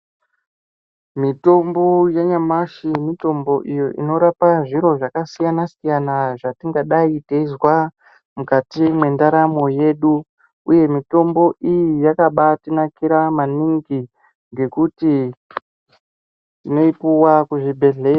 Mitombo yanyamashi mitombo iyo inorapa zviro zvakasiyana siyana zvatingadai teizwa mukati mwenderamo yedu uye mitombo iyi yakabatinakira maningi ngekuti tinoipiwa kuzvibhedhlera.